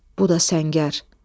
Bu da səngər.